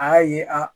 A y'a ye a